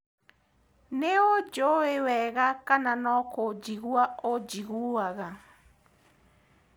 Nĩũnjui wega kana nokũnjigua ũnjiguaga?